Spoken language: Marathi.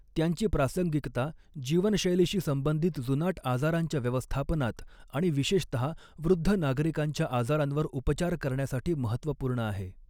त्यांची प्रासंगिकता, जीवनशैलीशी संबंधित जुनाट आजारांच्या व्यवस्थापनात आणि विशेषतहा वृद्ध नागरिकांच्या आजारांवर उपचार करण्यासाठी महत्त्वपूर्ण आहे.